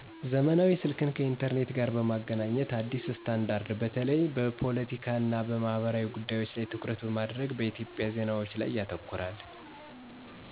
ዘመናዊ ስልክን ከ ኢንተርኔት ጋር በ ማገናኘት አዲስ ስታንዳርድ - በተለይ በፖለቲካ እና በማህበራዊ ጉዳዮች ላይ ትኩረት በማድረግ በኢትዮጵያ ዜናዎች ላይ ያተኩራል።